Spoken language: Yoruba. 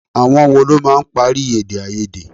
Àwọn wo ló máa ń parí èdè-áiyedé?